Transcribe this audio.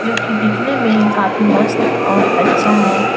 जो कि दिखने में काफी मस्त और अच्छा है।